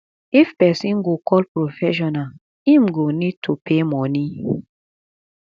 if person go call professional im go need to pay money